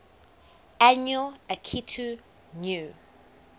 annual akitu new